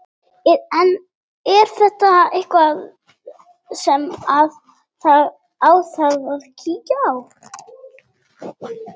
Er þetta ekki eitthvað sem að þarf að kíkja á?